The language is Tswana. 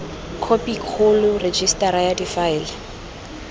khophi kgolo rejisetara ya difaele